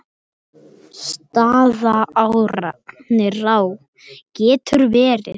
Staðará getur verið